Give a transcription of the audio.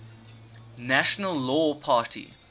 natural law party